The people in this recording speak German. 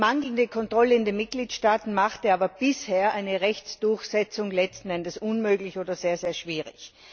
Mangelnde Kontrolle in den Mitgliedstaaten machte aber bisher eine Rechtsdurchsetzung letzten Endes unmöglich oder sehr sehr schwierig.